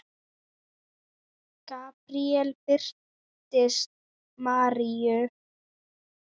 Gabríel birtist Maríu